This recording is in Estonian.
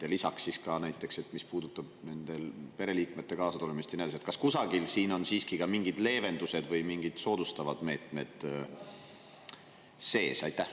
Ja lisaks, ma ei tea, näiteks, mis puudutab nende pereliikmete kaasatulemist ja nii edasi, kas kusagil on siiski ka mingid leevendused või mingid soodustavad meetmed sees?